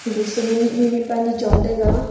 gag suima mihnu mihpa ni chong taiga.